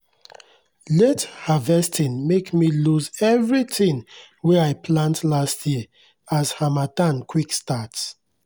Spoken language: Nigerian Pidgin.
late harvesting make me lose everything wey i plant last year as harmattan quick start